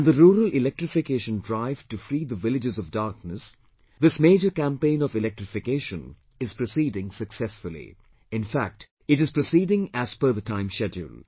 And the rural electrification drive to free the villages of darkness, this major campaign of electrification is proceeding successfully; in fact it is proceeding as per the timeschedule